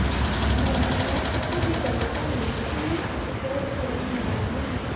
ਮੰਤਰੀਆਂ ਅਤੇ ਵਿਧਾਇਕਾਂ ਨੂੰ ਭੀੜ ਇਕੱਤਰ ਕਰਨ ਦਾ ਜਿੰਮਾ